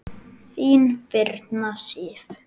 Þín, Birna Sif.